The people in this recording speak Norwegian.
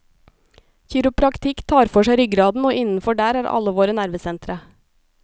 Kiropraktikk tar for seg ryggraden, og innenfor der er alle våre nervesentre.